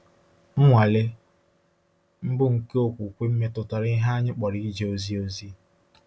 Nnwale mbụ nke okwukwe m metụtara ihe anyị kpọrọ ije ozi ozi.